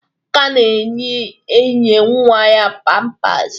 Amaka na-eyinye nwa ya pampasị